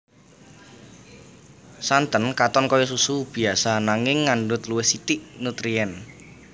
Santen katon kaya susu biasa nanging ngandhut luwih sithik nutrien